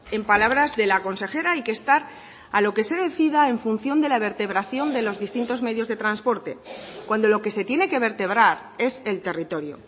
en palabras de la consejera hay que estar a lo que se decida en función de la vertebración de los distintos medios de transporte cuando lo que se tiene que vertebrar es el territorio